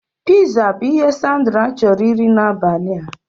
Piza bụ ihe Sandra chọrọ iri n'abalị a